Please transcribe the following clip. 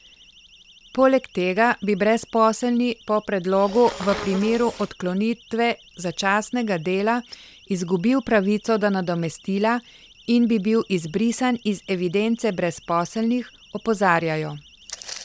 Poleg tega bi brezposelni po predlogu v primeru odklonitve začasnega dela izgubil pravico do nadomestila in bi bil izbrisan iz evidence brezposelnih, opozarjajo.